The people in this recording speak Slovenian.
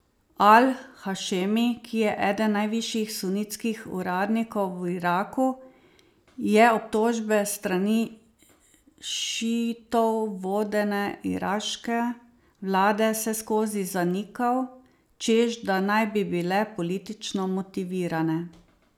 Al Hašemi, ki je eden najvišjih sunitskih uradnikov v Iraku, je obtožbe s strani šiitov vodene iraške vlade vseskozi zanikal, češ da naj bi bile politično motivirane.